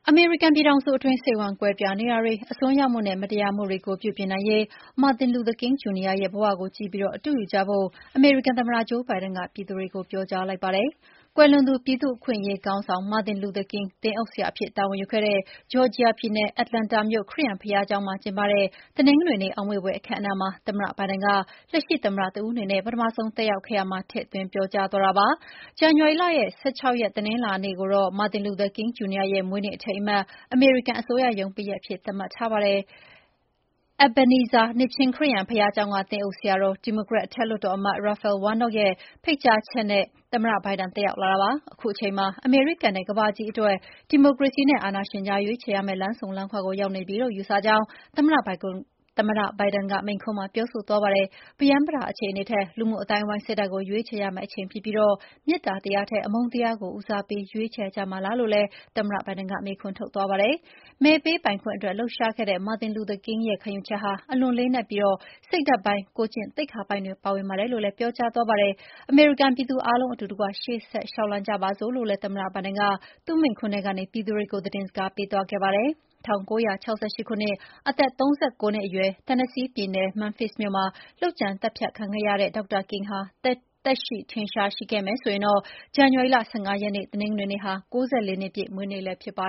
အမေရိကန်ပြည်ထောင်စုအတွင်း စိတ်ဝမ်းကွဲပြားနေတာတွေ ၊ အစွန်းရောက်မှုနဲ့ မတရားမှုတွေကို ပြုပြင်နိုင်ရေး Martin Luther King Jr ရဲ့ဘဝကို ကြည့်ပြီးအတုယူကြဖို့ အမေရိကန်သမ္မတ ဂျိုးဘိုင်ဒန်က ပြည်သူတွေကို ပြောကြားလိုက်ပါတယ်။ ကွယ်လွန်သူ ပြည်သူ့အခွင့်အရေးခေါင်းဆောင် Martin Luther King သင်းအုပ်ဆရာအဖြစ်တာဝန်ယူခဲ့တဲ့ Georgia ပြည်နယ်၊ Atlanta မြို့ခရစ်ယာန် ဘုရားကျောင်းမှာကျင်းပတဲ့ တနင်္ဂနွေနေ့ အောက်မေ့ဖွယ် အခမ်းအနားမှာ သမ္မတဘိုင်ဒန်က လက်ရှိသမ္မတတဦးအနေနဲ့ ပထမဆုံး တက်ရောက်ခဲ့ရာမှာ ထည့်သွင်းပြောကြားသွားတာပါ။ ဇန်နဝါရီလရဲ့၁၆ ရက် တနင်္လာနေ့ကိုတော့ Martin Luther King Jr ရဲ့ မွေးနေ့ အထိမ်းအမှတ် အမေရိကန်အစိုးရရုံးပိတ်ရက်အဖြစ်သတ်မှတ်ထားပါတယ်။ Ebenezer နှစ်ခြင်းခရစ်ယာန်ဘုရားကျောင်းက သင်းအုပ်ဆရာတော် ဒီမိုကရက်အထက်လွှတ်တော်အမတ် Raphael Warnock ရဲ့ ဖိတ်ကြားချက်အရ သမ္မတဘိုင်ဒန် တက်ရောက်လာတာပါ။ အခုအချိန်မှာ အမေရိကန်နဲ့ ကမ္ဘာကြီးအတွက် ဒီမိုကရေစီနဲ့ အာဏာရှင်ကြား ရွေးချယ်ရမယ့် လမ်းဆုံလမ်းခွကို ရောက်နေပြီလို့ ယူဆကြောင်းလည်း သမ္မတဘိုင်ဒင်က မိန့်ခွန်းမှာ ပြောဆိုသွားပါတယ်။ ပရမ်းပတာအခြေအနေထက် လူမှုအသိုင်းအဝိုင်း စိတ်ဓာတ်ကို ရွေးချယ်ရမယ့်အချိန်ဖြစ်ပြီး၊ မေတ္တာတရားထက် အမုန်းတရားကို ဦးစားပေး ရွေးချယ်ကြမှာလားလို့လည်း သမ္မတဘိုင်ဒန်ကမေးခွန်းထုတ်သွားပါတယ်။ မဲပေးပိုင်ခွင့်အတွက် လှုပ်ရှားခဲ့တဲ့ Martin Luther King ရဲ့ခံယူချက်ဟာ အလွန်လေးနက်ပြီး စိတ်ဓာတ်ပိုင်း၊ ကိုယ်ကျင့်သိက္ခာပိုင်းတွေ ပါဝင်ပါတယ်လို့လည်း ပြောကြားသွားပါတယ်။ အမေရိကန်ပြည်သူအားလုံး အတူတကွရှေ့ဆက်လေ ျှာက်လှမ်းကြပါစို့လို့လည်း သမ္မတဘိုင်ဒန်က သူ့မိန့်ခွန်းထဲကနေ ပြည်သူတွေကို သတင်းစကားပေး သွားခဲ့ပါတယ်။ ၁၉၆၈ ခုနှစ် အသက် ၃၉ နှစ်အရွယ်၊ Tennessee ပြည်နယ်၊ Memphis မြို့မှာ လုပ်ကြံသတ်ဖြတ်ခံခဲ့ရတဲ့ Dr. King ဟာ သက်ရှိထင်ရှားရှိခဲ့မယ် ဆိုရင်တော့ ဇန်နဝါရီ်လ ၁၅ ရက်နေ့ တနင်္ဂနွေနေ့ဟာ ၉၄ နှစ်ပြည့်မွေးနေ့လည်း ဖြစ်ပါ